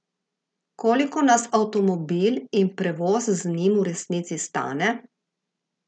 Koliko nas avtomobil in prevoz z njim v resnici stane?